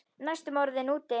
Næstum orðinn úti